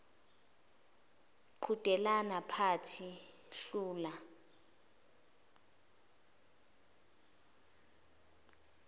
qhudelana phatha hlula